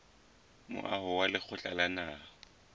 moaho wa lekgotla la naha